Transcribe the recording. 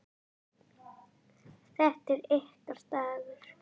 Þetta er ykkar dagur.